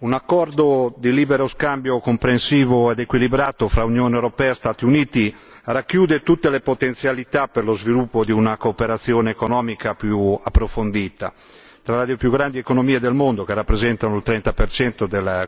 un accordo di libero scambio comprensivo ed equilibrato fra Unione europea e Stati Uniti racchiude tutte le potenzialità per lo sviluppo di una cooperazione economica più approfondita tra le più grandi economie del mondo, che rappresentano il 30 del commercio mondiale.